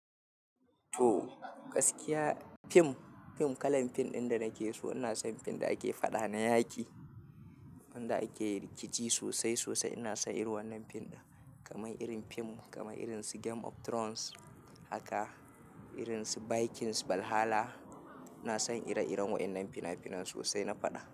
To, gaskiya fim, fim kalan fim ɗin da nake so ina son fim ɗin ake faɗa na yaƙi, wanda ake rikici sosai sosai. Ina son irin wannan fim ɗin kamar irin fim kamar irin su game of Thrones, haka irin su Vikings Valhalla. Ina son ire-iren waɗannan fina-finan sosai na faɗa.